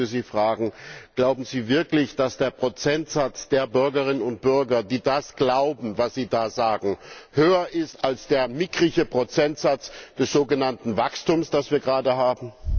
Ich möchte Sie fragen Glauben Sie wirklich, dass der Prozentsatz der Bürgerinnen und Bürger, die das glauben, was Sie da sagen, höher ist als der mickrige Prozentsatz des sogenannten Wachstums, das wir gerade haben?